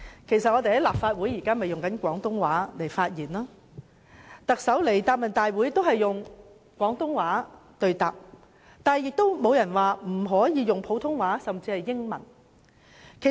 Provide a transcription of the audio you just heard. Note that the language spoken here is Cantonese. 我們在立法會內以廣東話發言，而特首出席行政長官答問會時亦以廣東話對答，不曾有人指不可以普通話甚或英語發言。